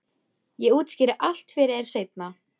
Ég útskýri allt fyrir þér seinna.